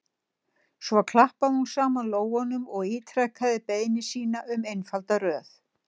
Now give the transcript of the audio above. Svo klappaði hún saman lófunum og ítrekaði beiðni sína um einfalda röð.